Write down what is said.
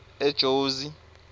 ejozi